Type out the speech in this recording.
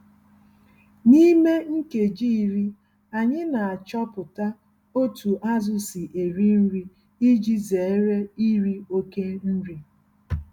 N'ime nkeji iri, anyị n'achọpụta otú azụ si eri nri iji zere iri oke nri.